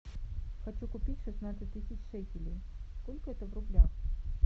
хочу купить шестнадцать тысяч шекелей сколько это в рублях